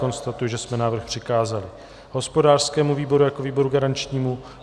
Konstatuji, že jsme návrh přikázali hospodářskému výboru jako výboru garančnímu.